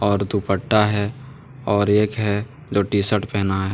दुपट्टा है और एक है जो टी-शर्ट पहना है।